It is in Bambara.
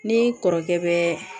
Ni kɔrɔkɛ bɛ